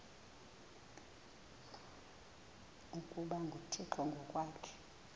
ukuba nguthixo ngokwaso